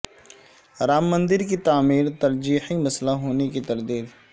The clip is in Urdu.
رام مندر کی تعمیر ترجیحی مسئلہ ہونے کی تردید